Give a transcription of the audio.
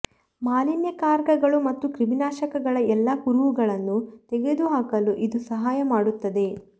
ಮಾಲಿನ್ಯಕಾರಕಗಳು ಮತ್ತು ಕ್ರಿಮಿನಾಶಕಗಳ ಎಲ್ಲಾ ಕುರುಹುಗಳನ್ನು ತೆಗೆದುಹಾಕಲು ಇದು ಸಹಾಯ ಮಾಡುತ್ತದೆ